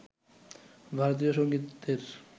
ভারতীয় সঙ্গীতের